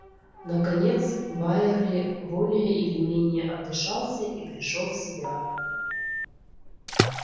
наконец байерли более или менее отдышался и пришёл в себя